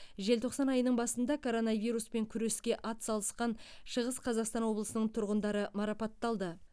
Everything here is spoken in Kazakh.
желтоқсан айының басында коронавируспен күреске атсалысқан шығыс қазақстан облысының тұрғындары марапатталды